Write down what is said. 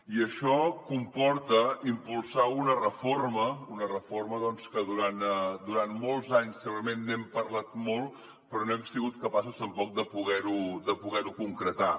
i això comporta impulsar una reforma una reforma doncs que durant molts anys segurament n’hem parlat molt però no hem sigut capaços tampoc de poder ho concretar